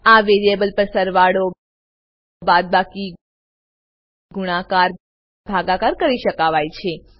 આ વેરીએબલ પર સરવાળોબાદબાકી ગુણાકાર ભાગાકાર કરી શકાય છે